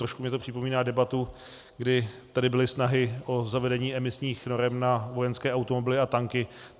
Trošku mi to připomíná debatu, kdy tady byly snahy o zavedení emisních norem na vojenské automobily a tanky.